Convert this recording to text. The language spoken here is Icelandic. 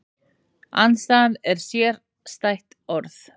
Andstæðan er sérstætt orð.